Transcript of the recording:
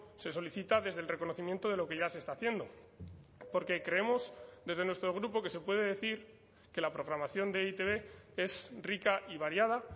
se solicita desde el reconocimiento de lo que ya se está haciendo porque creemos desde nuestro grupo que se puede decir que la programación de e i te be es rica y variada